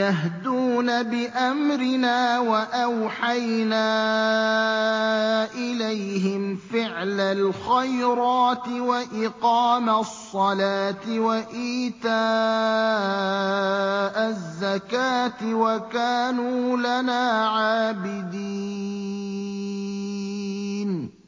يَهْدُونَ بِأَمْرِنَا وَأَوْحَيْنَا إِلَيْهِمْ فِعْلَ الْخَيْرَاتِ وَإِقَامَ الصَّلَاةِ وَإِيتَاءَ الزَّكَاةِ ۖ وَكَانُوا لَنَا عَابِدِينَ